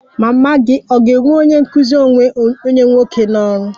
Mama gị ga-ewe onye nkụzi onwe onye nwoke n'ọrụ?